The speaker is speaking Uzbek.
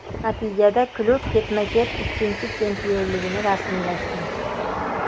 Natijada klub ketma-ket ikkinchi chempionligini rasmiylashtirdi.